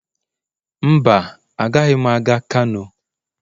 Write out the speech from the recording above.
Mba, agaghị m aga kano.